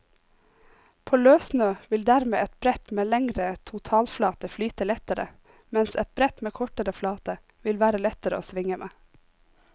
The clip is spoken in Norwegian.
På løssnø vil dermed et brett med lengre totalflate flyte lettere, mens et brett med kortere flate vil være lettere å svinge med.